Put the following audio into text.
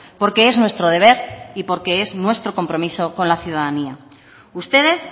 porque es nuestro deber y porque es nuestro compromiso con la ciudadanía ustedes